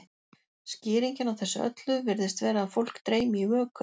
skýringin á þessu öllu virðist vera að fólk dreymi í vöku